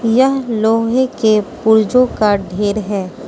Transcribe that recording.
यह लोहे के पूर्जो का ढेर है।